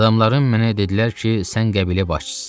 Adamların mənə dedilər ki, sən qəbilə başçısısan.